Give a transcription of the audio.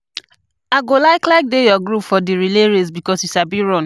I go like like dey your group for di relay race because you sabi run.